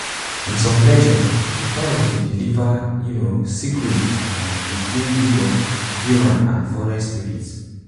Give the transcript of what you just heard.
in some legends de parrot dey deliver um secrets um between um humans and de forest spirits